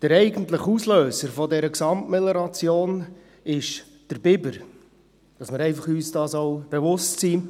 Der eigentliche Auslöser dieser Gesamtmelioration war der Biber – einfach, damit wir uns dessen bewusst sind.